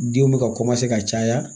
Denw bɛ ka ka caya